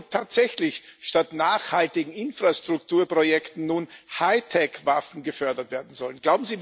Ich frage mich, ob tatsächlich statt nachhaltigen Infrastrukturprojekten nun Hightech Waffen gefördert werden sollen.